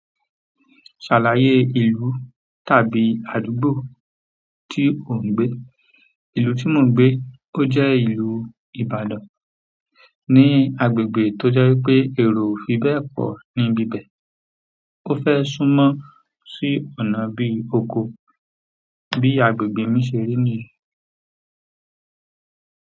Ṣàlàyé ìlú tàbí àdúgbò tí ò ń gbé. Ìlú tí mò ń gbé, ó jẹ́ ìlú Ìbàdàn, ní agbègbè tó jẹ́ pé èrò ò fi bẹ́ẹ̀ pọ̀ níbi ibẹ̀. O fe sumo sí ọ̀nà bi oko bi agbègbè mi seri niyẹn.